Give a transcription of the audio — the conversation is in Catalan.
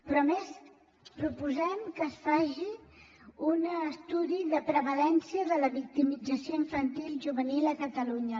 però a més proposem que es faci un estudi de prevalença de la victimització infantil i juvenil a catalunya